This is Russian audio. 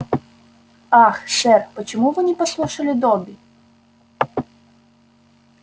ах сэр почему вы не послушали добби